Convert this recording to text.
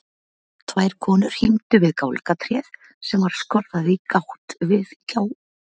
Tvær konur hímdu við gálgatréð sem var skorðað í gátt í gjárveggnum.